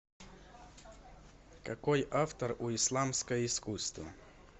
какой автор у исламское искусство